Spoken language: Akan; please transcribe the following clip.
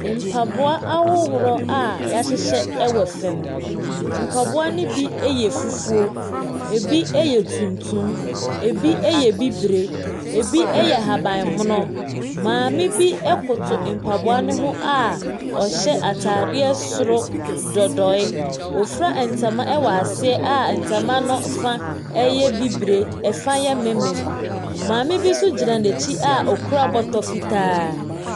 Mpaboa ahodoɔ a wɔahyehyɛ wɔ fam. Mpaboa no bi yɛ fufuo, ɛbi yɛ tuntum, ɛbi yɛ bibire, ɛbi yɛ ahabammono. Maame bi koto mpaboano ho a ɔhyɛ atadeɛ soro dodoe, ɔfura ntama wɔ aseɛ a ntama no fa yɛ bibire, ɛfa yɛ mmemmem. Maame bi nso gyina n'akyi a ɔkura bɔtɔ fitaa.